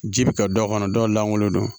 Ji bi ka dɔw kɔnɔ dɔw lankolon don